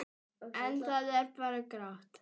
En það er bara grátt.